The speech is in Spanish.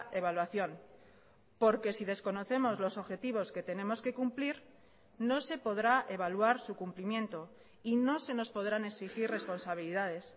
evaluación porque si desconocemos los objetivos que tenemos que cumplir no se podrá evaluar su cumplimiento y no se nos podrán exigir responsabilidades